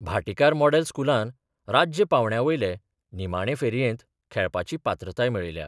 Bhatikar model स्कुलान राज्य पांवड्या वयले निमाणे फेरयेंत खेळपाची पात्रताय मेळयल्या.